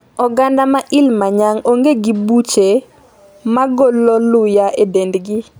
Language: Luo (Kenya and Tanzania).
Oganda ma Ilimanyang ong'e gi buche magolo luya e dendgi